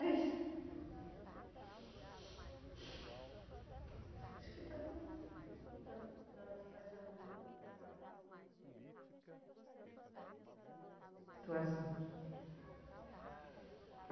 É isso. Acho que está bom, a senhora vai se arrumando. Obrigada